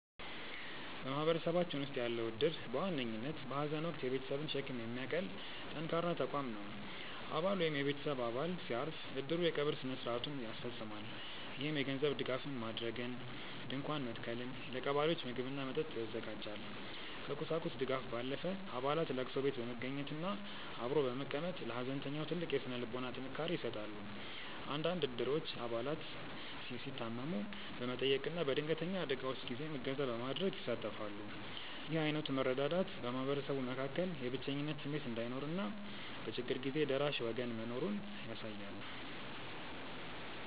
በማህበረሰባችን ውስጥ ያለው እድር በዋነኝነት በሐዘን ወቅት የቤተሰብን ሸክም የሚያቀል ጠንካራ ተቋም ነው። አባል ወይም የቤተሰብ አባል ሲያርፍ፣ እድሩ የቀብር ሥነ ሥርዓቱን ያስፈፅማል። ይህም የገንዘብ ድጋፍ ማድረግን፣ ድንኳን መትከልን፣ ለቀባሪዎች ምግብና መጠጥ ያዘጋጃል። ከቁሳቁስ ድጋፍ ባለፈ፣ አባላት ለቅሶ ቤት በመገኘትና አብሮ በመቀመጥ ለሐዘንተኛው ትልቅ የሥነ ልቦና ጥንካሬ ይሰጣሉ። አንዳንድ እድሮች አባላት ሲታመሙ በመጠየቅና በድንገተኛ አደጋዎች ጊዜም እገዛ በማድረግ ይሳተፋሉ። ይህ ዓይነቱ መረዳዳት በማህበረሰቡ መካከል የብቸኝነት ስሜት እንዳይኖርና በችግር ጊዜ ደራሽ ወገን መኖሩን ያሳያል።